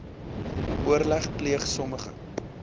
oorleg pleeg sommige